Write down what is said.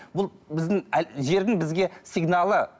ол біздің жердің бізге сигналы